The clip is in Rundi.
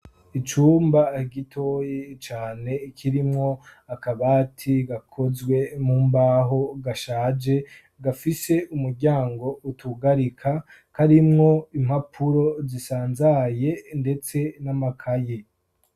Icumba gitoyi cane kirimwo akabati gakozwe mumbaho, gashaje, gafise umuryango utugarika. Karimwo impapuro zisanzaye ndetse n'amakaye.